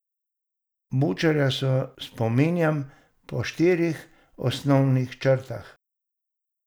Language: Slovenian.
Bučarja se spominjam po štirih osnovnih črtah.